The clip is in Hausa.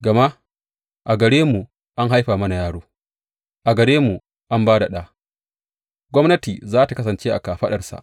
Gama a gare mu an haifa mana yaro, a gare mu an ba da ɗa, gwamnati za tă kasance a kafaɗarsa.